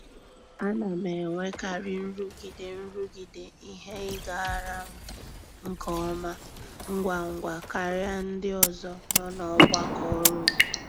A na m enwekarị nrụgide nrụgide ihe ịgara m nke ọma ngwa ngwa karịa ndị ọzọ nọ n'ọgbakọ ọrụ m.